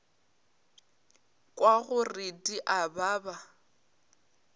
kwa gore di a baba